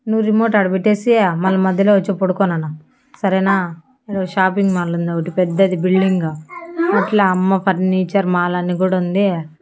నువ్వు రిమోట్ ఆడ పెట్టేసి మల్ల మధ్యలో వచ్చి పడుకో నాన్న సరేనా షాపింగ్ మాల్ ఉంది ఒకటి పెద్దది బిల్డింగ్ అట్లా అమ్మ ఫర్నిచర్ మాల్ అని కూడా ఉంది.